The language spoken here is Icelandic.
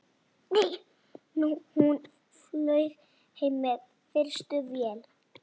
Hún flaug heim með fyrstu vél.